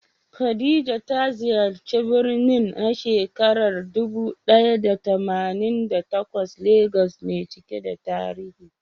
Khadija ta ziyarci birnin na shekarar dubu ɗaya da tamanin da takwas Legas mai cike da tarihi.